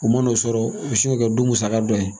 U man'o sɔrɔ u bɛ se k'o kɛ don musaka dɔ ye